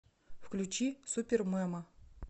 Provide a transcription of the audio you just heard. включи супермема